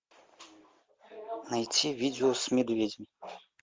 найти видео с медведем